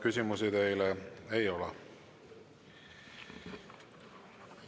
Küsimusi teile ei ole.